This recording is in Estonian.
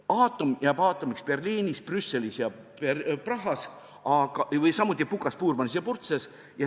Aatom jääb aatomiks Berliinis, Brüsselis ja Prahas, samuti Pukas, Puurmanis ja Purtses.